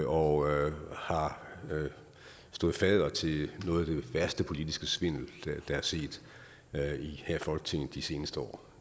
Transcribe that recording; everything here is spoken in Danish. og har stået fadder til noget af den værste politiske svindel der er set her i folketinget de seneste år